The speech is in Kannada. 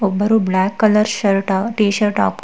ಒಬ್ಬರು black colour shirt T shirt ಹಾಕ್--